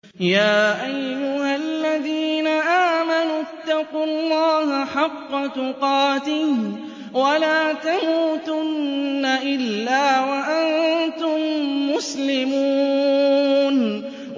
يَا أَيُّهَا الَّذِينَ آمَنُوا اتَّقُوا اللَّهَ حَقَّ تُقَاتِهِ وَلَا تَمُوتُنَّ إِلَّا وَأَنتُم مُّسْلِمُونَ